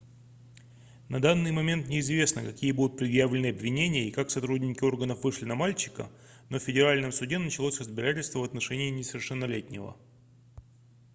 на данный момент неизвестно какие будут предъявлены обвинения и как сотрудники органов вышли на мальчика но в федеральном суде началось разбирательство в отношении несовершеннолетнего